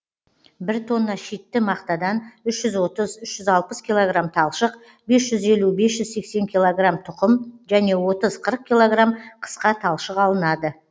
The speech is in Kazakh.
бір тонна шитті мақтадан үш жүз отыз үш жүз алпыс килограмм талшық бес жүз елу бес жүз сексен килограмм тұқым және отыз қырық килограмм қысқа талшық алынады